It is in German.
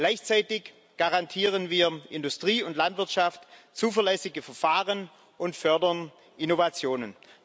Gleichzeitig garantieren wir Industrie und Landwirtschaft zuverlässige Verfahren und fördern Innovationen.